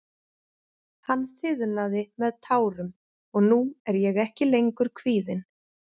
Hann þiðnaði með tárum og nú er ég ekki lengur kvíðinn.